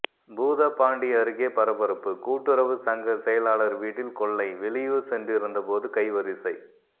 பூதப்பாண்டி அருகே பரபரப்பு கூட்டுறவு சங்க செயலாளர் வீட்டில் கொள்ளை வெளியூர் சென்றிருந்த போது கைவரிசை